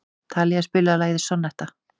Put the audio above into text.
Talía, spilaðu lagið „Sonnetta“.